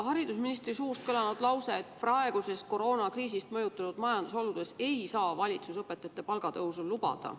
Haridusministri suust on kõlanud lause, et praegustes koroonakriisist mõjutatud majandusoludes ei saa valitsus õpetajatele palgatõusu lubada.